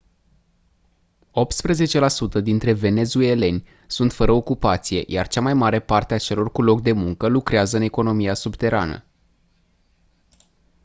optsprezece la sută dintre venezueleni sunt fără ocupație iar cea mai mare parte a celor cu loc de muncă lucrează în economia subterană